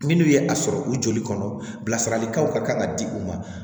Minnu ye a sɔrɔ u joli kɔnɔ bilasiralikanw ka kan ka di u ma